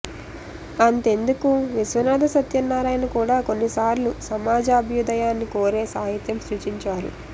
అంతెందుకు విశ్వనాథ సత్యనారాయణ కూడా కొన్ని సార్లు సమాజాభ్యుదయాన్ని కోరే సాహిత్యం సృజించారు